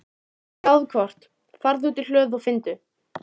gáðu hvort. farðu út í hlöðu og finndu.